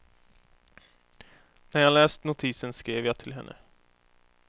När jag läst notisen skrev jag till henne.